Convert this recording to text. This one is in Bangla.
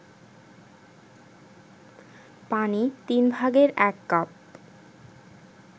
পানি ১/৩ কাপ